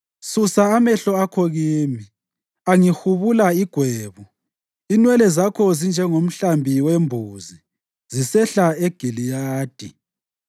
Susa amehlo akho kimi; angihubula igwebu. Inwele zakho zinjengomhlambi wembuzi zisehla eGiliyadi.